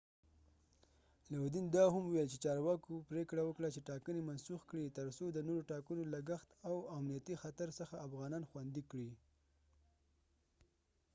لودین دا هم وویل چې چارواکو پریکړه وکړه چې ټاکنې منسوخ کړي ترڅو د نورو ټاکنو لګښت او د امنیتي خطر څخه افغانان خوندي کړي